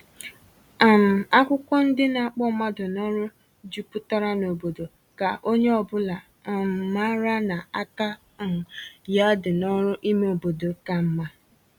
um Akwụkwọ ndị na-akpọ mmadụ n’ọrụ juputara n'obodo, ka onye ọbụla um mara na aka um ya dị n’ọrụ ime obodo ka mma